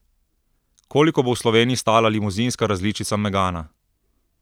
Koliko bo v Sloveniji stala limuzinska različica megana?